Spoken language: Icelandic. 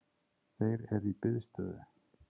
Þeir eru í biðstöðu